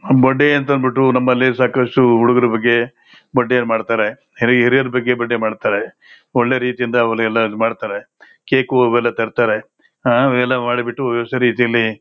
birthday ಅನ್ನ ಬಿಟ್ಟು ನಮ್ಮಲ್ಲಿ ಸಾಕಷ್ಟು ಹುಡುಗರ ಬಗ್ಗೆ ಬರ್ಡೇ ಮಾಡತಾರೆ ಹಿರಿಯರ ಬಗ್ಗೆ ಬರ್ಡೇ ಮಾಡತಾರೆ ಒಳ್ಳೆ ರೀತಿಯಿಂದ ಕೇಕು ಇವೆಲ್ಲಾ ತರತಾರೆ ಆಹ್ ಇವೆಲ್ಲಾ ಮಾಡಿಬಿಟ್ಟು ವ್ಯವಸ್ಥ ರೀತಿಲ್ಲಿ.--